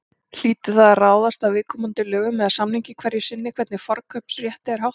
Hlýtur það að ráðast af viðkomandi lögum eða samningi hverju sinni hvernig forkaupsrétti er háttað.